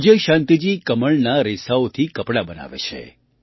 વિજયશાંતિજી કમળના રેસાઓથી કપડાં બનાવે છે